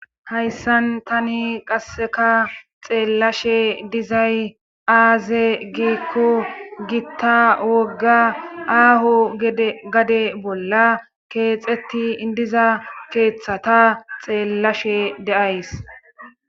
Hayssan tani qasseka xeellashe dizay aaze giikko gitta wogga aahu gade bolla keexeti idiza keeththata xeellashe deays.